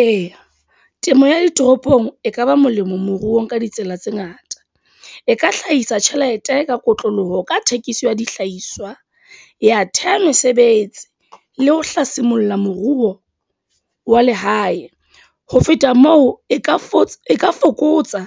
Eya, temo ya ditoropong e kaba molemo moruong ka ditsela tse ngata. E ka hlahisa tjhelete ka kotloloho ka thekiso ya dihlahiswa, ya theha mesebetsi, le ho hlasimoluhile moruo wa lehae. Ho feta moo, e ka fokotsa e ka fokotsa